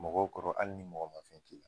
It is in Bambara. Mɔgɔw kɔrɔ hali ni mɔgɔ man fɛn k'i la.